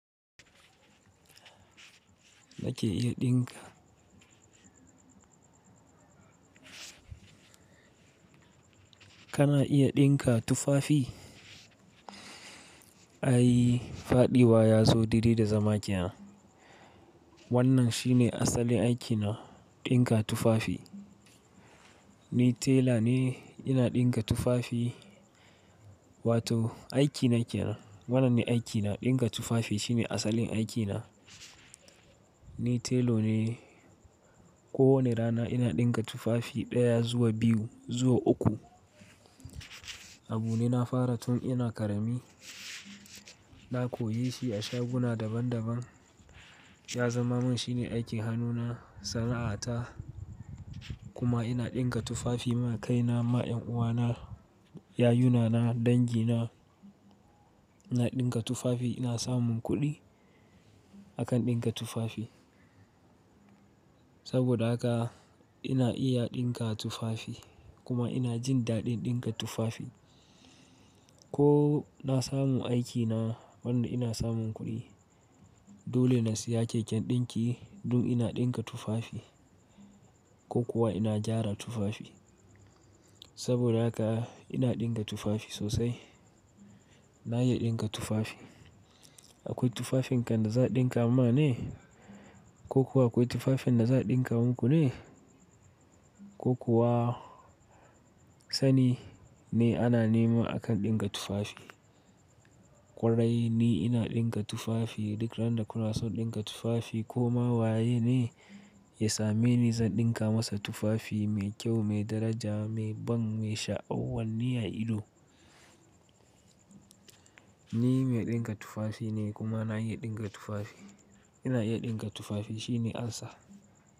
Na ke iya ɗinka. Kana iya ɗinka tufafi? Ai faɗiwa ya zo dai dai da zama kenan. Wannan shine asalin aikina, ɗinka tufafi. Ni tela ne ina ɗinka tufafi wato aikina kenan. Wannan ne aikina, ɗinka tufafi shine asalin aikina. Ni telo ne, ko wane rana ina ɗinka tufafi ɗaya zuwa biyu zuwa uku. Abu ne na fara tun ina ƙarami. Na koyi shi a shaguna daban daban. Ya zama min shine aikin hannuna, sana'ata kuma ina ɗinka tufafi ma kaina, ma ƴanuwana, yayunana, dangina. Ina ɗinka tufafi ina samun kuɗi akan ɗinka tufafi. Saboda haka ina iya ɗinka tufafi kuma ina jin daɗin ɗinka tufafi. Ko na samu aikina wanda ina samun kuɗi dole na siya keken ɗinki dun ina ɗinka tufafi ko kuwa ina gyara tufafi. Saboda haka ina ɗinka tufafi sosai. Na iya ɗinka tufafi. Akwai tufafin kanda za a ɗinka ma ne ko kuwa akwai tufafin da za a ɗinka muku ne ko kuwa sani ne ana nema akan ɗinka tufafi. Ƙwarai ni ina ɗinka tufafi duk randa kuna son ɗinka tufafi ko ma waye ne ya same ni zan ɗinka masa tufafi mai kyau, mai daraja, mai ban, mai sha'awanni a ido. Ni mai ɗinka tufafi ne kuma na iya ɗinka tufafi. Ina iya ɗinka tufafi shine amsa.